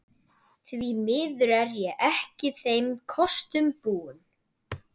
Því miður er ég ekki þeim kostum búin.